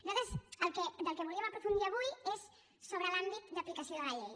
nosaltres del que volíem aprofundir avui és sobre l’àmbit d’aplicació de la llei